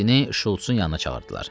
Mehdini Şults-un yanına çağırdılar.